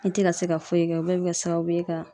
An te ka se ka foyi kɛ o bɛɛ be kɛ sababu ye ka